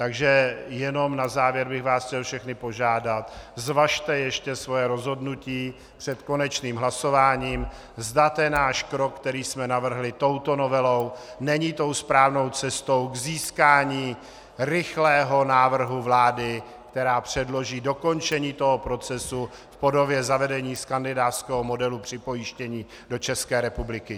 Takže jenom na závěr bych vás chtěl všechny požádat, zvažte ještě svoje rozhodnutí před konečným hlasováním, zda ten náš krok, který jsme navrhli touto novelou, není tou správnou cestou k získání rychlého návrhu vlády, která předloží dokončení toho procesu v podobě zavedení skandinávského modelu připojištění do České republiky.